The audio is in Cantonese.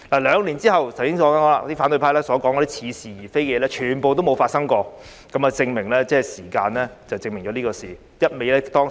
兩年後，正如我剛才所說，反對派所說的似是而非的事，全部都沒有發生，時間可證明一切。